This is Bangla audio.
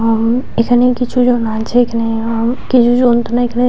হু এখানে কিছু জন আছে এখানে হু কিছু জন এখানে এখানে --